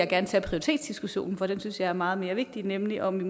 gerne tage prioritetsdiskussionen for den synes jeg er meget vigtigere nemlig om vi